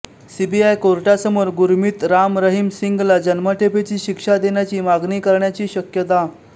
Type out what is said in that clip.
CBI कोर्टासमोर गुरमीत राम रहीम सिंगला जन्मठेपेची शिक्षा देण्याची मागणी करण्याची शक्यता